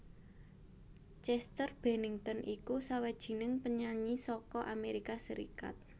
Chester Bennington iku sawijining penyanyi saka Amérika Sarékat